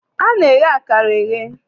A na-eye akara eye.